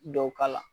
Dɔw k'a la